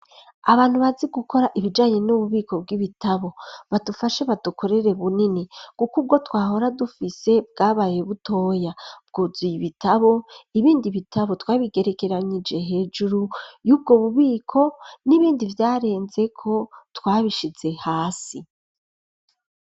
Abantu bazi gukora ibijanye n'ububiko bw'ibitabo ,badufashe badukorere bunini, kuko ubwo twahora dufise bwabaye butoya, bwuzuye ibitabo, ibindi bitabo twabigerekeranyeje hejuru y'ubwo bubiko ,n'ibindi vyarenzeko twabishize hasi.